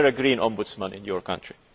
Is there a Green Ombudsman in your country?